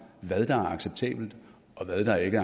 hvad der er acceptabelt og hvad der ikke